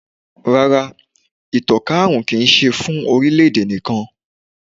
Rárá, ìtànká àrùn kì í ṣe fún orílẹ̀-èdè nìkan.